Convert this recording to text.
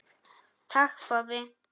Takk, pabbi.